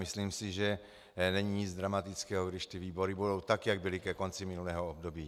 Myslím si, že není nic dramatického, když ty výbory budou tak, jak byly ke konci minulého období.